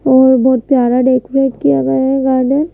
और बहुत प्यारा डेकोरेट किया गया है गार्डन --